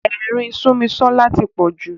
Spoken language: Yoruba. Ẹ̀rín Súnmisọ́lá tí pọ̀ jù.